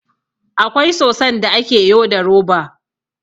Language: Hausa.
Akwai soson da ake yo da roba